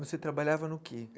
Você trabalhava no quê?